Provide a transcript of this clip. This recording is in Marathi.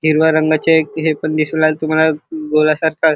हिरव्या रंगाचे हे पण दिसु लागले तुम्हाला गोला सारखा--